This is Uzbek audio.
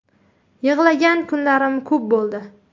Yig‘lagan kunlarim ko‘p bo‘ldi.